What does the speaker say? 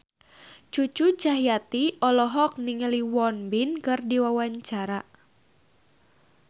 Cucu Cahyati olohok ningali Won Bin keur diwawancara